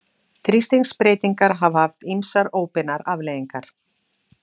Þrýstingsbreytingar hafa haft ýmsar óbeinar afleiðingar.